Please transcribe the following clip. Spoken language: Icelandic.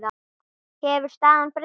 Hefur staðan breyst?